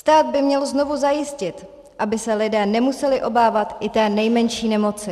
Stát by měl znovu zajistit, aby se lidé nemuseli obávat i té nejmenší nemoci.